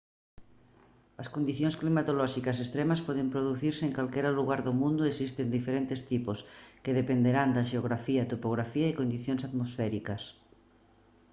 as condicións climatolóxicas extremas poden producirse en calquera lugar do mundo e existen diferentes tipos que dependerán da xeografía topografía e condicións atmosféricas